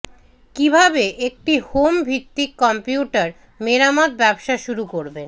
কিভাবে একটি হোম ভিত্তিক কম্পিউটার মেরামত ব্যবসা শুরু করবেন